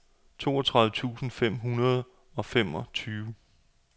toogtredive tusind fem hundrede og femogtyve